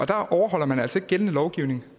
der overholder man altså ikke gældende lovgivning